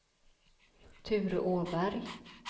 Ture Åberg